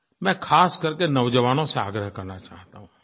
मैं ख़ास करके नौजवानों से आग्रह करना चाहता हूँ